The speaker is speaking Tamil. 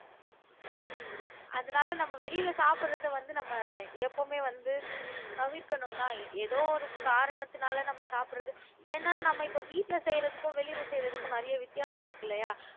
அதனால நம்ம வெளியில சாப்பிடுறதை வந்து நம்ம எப்பவுமே வந்து தவிர்க்கணும்தான் ஏதோ ஒரு காரணத்துனால நம்ம சாப்பிடுறது ஏன்னா நம்ம இப்ப வீட்டுல செய்யிறதுக்கும் வெளியில செய்யிறதுக்கும் நிறைய வித்தியாசம் இருக்கு இல்லையா